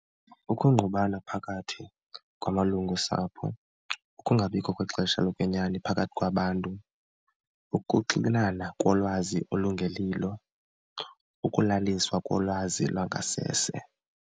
Ukungqubana phakathi kwamalungu osapho, ukungabikho kwexesha lokwenyani phakathi kwabantu, ukuxinana kolwazi olungelilo, ukulaliswa kolwazi lwangasese.